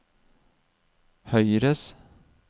høyres